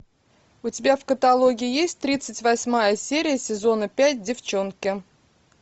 у тебя в каталоге есть тридцать восьмая серия сезона пять девчонки